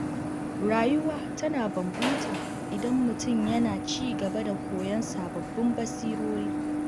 Rayuwa tana inganta idan mutum yana ci gaba da koyon sababbin basirori.